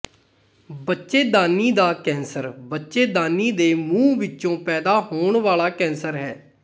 ਬੱਚੇਦਾਨੀ ਦਾ ਕੈਂਸਰ ਬੱਚੇਦਾਨੀ ਦੇ ਮੂੰਹ ਵਿੱਚੋਂ ਪੈਦਾ ਹੋਣ ਵਾਲਾ ਕੈਂਸਰ ਹੈ